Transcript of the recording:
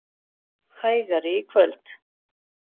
Hægari í kvöld